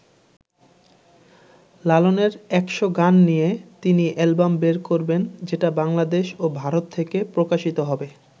লালনের ১০০ গান নিয়ে তিনি অ্যালবাম বের করবেন যেটা বাংলাদেশ ও ভারত থেকে প্রকাশিত হবে।